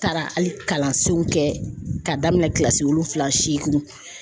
taara hali kalansenw kɛ k'a daminɛn kilasi wolonfila seeginw